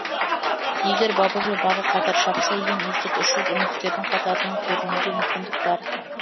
егер бабы мен бағы қатар шапса ең үздік үш жүз үміткердің қатарынан көрінуге мүмкіндік бар